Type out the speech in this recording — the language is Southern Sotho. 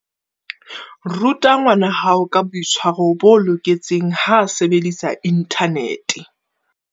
Ruta ngwanahao ka boitshwaro bo loketseng ha a sebedisa inthanete.